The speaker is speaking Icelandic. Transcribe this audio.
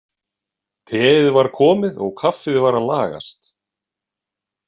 Teið var komið og kaffið var að lagast.